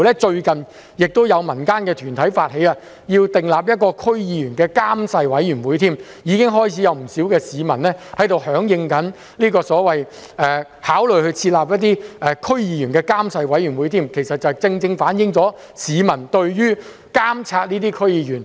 最近甚至有民間團體發起訂定關於區議員的監誓委員會，已經開始有不少市民響應考慮設立所謂的區議員監誓委員會，其實正正反映了市民對監察區議員撥亂反正的明確要求。